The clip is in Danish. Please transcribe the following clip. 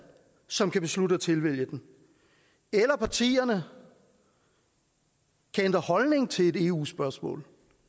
som kan beslutte at tilvælge den eller partierne kan ændre holdning til et eu spørgsmål